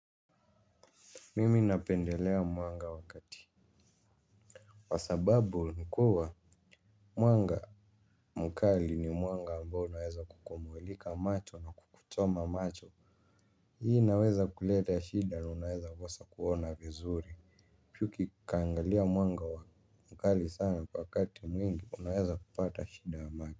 Mimi napendelea mwanga wakati. Wasababu nikuwa mwanga mkali ni mwanga ambao unaweza kukumulika macho na kukuchoma macho. Hii inaweza kuleta shida na unaweza kosa kuona vizuri. Pyuki kaangalia mwanga wa mkali sana kwa kati mwingi unaweza kupata shida ya maki.